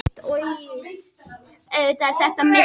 Þaðan hafa væntanlega einnig fengist efni og áhöld til blekgerðar.